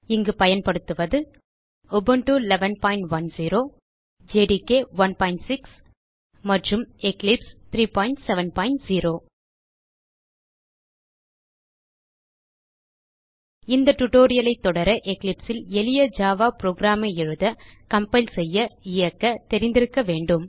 இங்கு பயன்படுத்துவது Ubuntu 1110 JDK 16 மற்றும் எக்லிப்ஸ் 370 இந்த டியூட்டோரியல் ஐ தொடர எக்லிப்ஸ் ல் எளிய ஜாவா புரோகிராம் ஐ எழுத கம்பைல் செய்ய இயக்க தெரிந்திருக்க வேண்டும்